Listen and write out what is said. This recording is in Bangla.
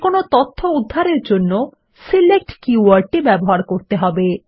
যেকোনো তথ্য উদ্ধারের জন্য সিলেক্ট কী ওয়ার্ড টি ব্যবহার করতে হবে